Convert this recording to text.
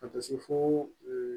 Ka taa se fo